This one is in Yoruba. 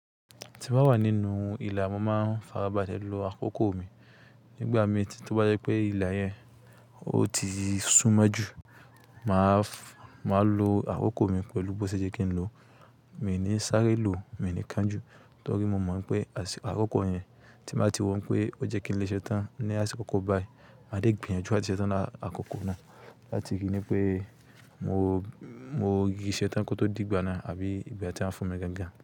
Tí mo bá wà nínú ìlà, mo máa farabalẹ̀ lo àkókò mi. Nígbà mi tí mo bá rí pé ìlà yẹn o ti sún mọ́ jù, mà á lo àkókò mi pẹ̀lú bó ṣe jẹ́ kí n lò ó. Mi ò ní sáré lò, mi ò ní kán jù torí mo mọ̀ pé àsìkò àkókò yẹn tí màá ti wọ̀n pé ó jẹ́ kí n léṣẹ́ tán ní àsìkò kan bayìí, màá dé gbìyànjú àtiṣẹ́ tán lákòókò náà láti kí ni pé mo rì í ṣe tán kí ó tó dìgbà náà àbí ìgbà tí wọ́n fún mi gangan.